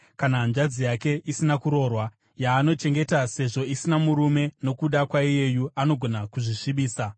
kana hanzvadzi yake isina kuroorwa yaanochengeta sezvo asina murume nokuda kwaiyeyu angagona kuzvisvibisa.